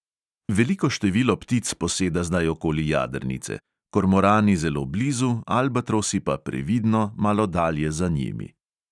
Veliko število ptic poseda zdaj okoli jadrnice, kormorani zelo blizu, albatrosi pa previdno, malo dalje za njimi.